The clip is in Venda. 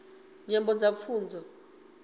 nyambo kha pfunzo